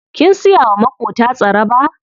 Kin siya wa maƙota tsaraba?